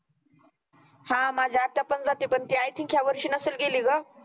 हा माझी आत्या पण जाती पण ती i think या वर्षी नसल गेली गं